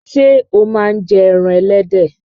Ṣé o máa ń jẹ ẹran ẹlẹ́dẹ̀?